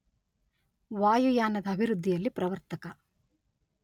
ವಾಯುಯಾನದ ಅಭಿವೃದ್ಧಿಯಲ್ಲಿ ಪ್ರವರ್ತಕ